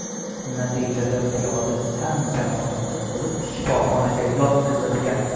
Natijada piyoda tan jarohati olib, shifoxonaga yotqizilgan.